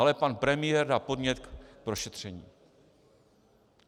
Ale pan premiér dal podnět k prošetření.